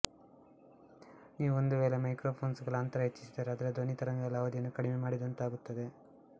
ನೀವು ಒಂದು ವೇಳೆ ಮೈಕ್ರೊಫೊನ್ಸ್ ಗಳ ಅಂತರ ಹೆಚ್ಚಿಸಿದರೆ ಅದರ ಧ್ವನಿ ತರಂಗಗಳ ಅವಧಿಯನ್ನು ಕಡಿಮೆ ಮಾಡಿದಂತಾಗುತ್ತದೆ